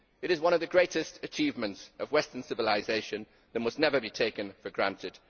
It is one of the greatest achievements of Western civilisation that must never be taken for granted.